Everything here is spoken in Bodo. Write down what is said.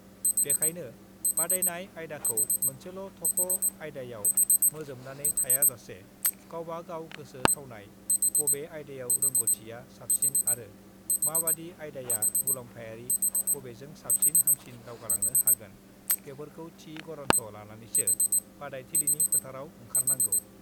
बेखायनो बादायनाय आयदाखौ मोनसेल थख' आयदायाव मोजोमनानै थायाजासे गावबा गाव गोसो थावनाय, बबे आयदायाव रोंग'थिया साबसिन आरो माबादि आयदाया मुलाम्फायारि बबेजों साबसिन हामसिन दावगालांनो हागोन बेफोरखौ थि गरन्थ' लानानैसो बादायथिलिनि फोथाराव ओंखारनांगौ।